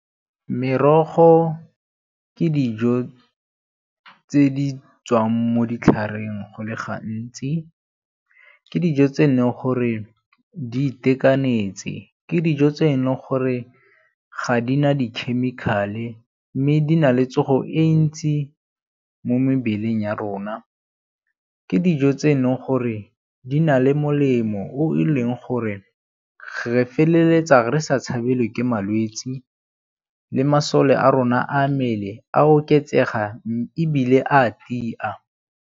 Merogo ke dijo tse di tswang mo ditlhareng go le gantsi. Ke dijo tse e neng gore di itekanetse, ke dijo tse e leng gore ga di na di-chemical-e mme di na le tsogo e ntsi mo mebeleng ya rona, ke dijo tse e leng gore di na le molemo o e leng gore re feleletsa re sa tshabale ke malwetsi le masome a rona a mmele a oketsega ebile a a tia.